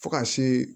Fo ka se